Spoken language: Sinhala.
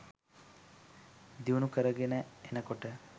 දියුණු කරගෙන එනකොට